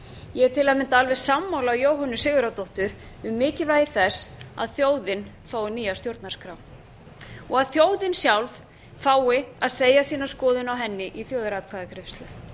ég er til að mynda alveg sammála jóhönnu sigurðardóttur um mikilvægi þess að þjóðin fái nýja stjórnarskrá og að þjóðin sjálf fái að segja sína skoðun á henni í þjóðaratkvæðagreiðslu